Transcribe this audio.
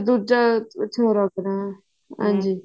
ਦੂਜਾ ਅੱਛਾ ਲੱਗ ਰਿਹਾ ਹਾਂਜੀ